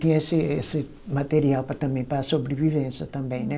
Tinha esse esse material para também, para sobrevivência também, né?